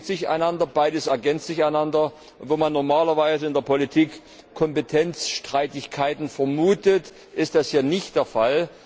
Beides bedingt sich einander, beides ergänzt sich einander. Wo man normalerweise in der Politik Kompetenzstreitigkeiten vermutet, ist das hier nicht der Fall.